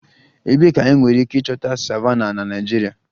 Ebee ka enwere ike ịchọta savannahs na Naịjirịa?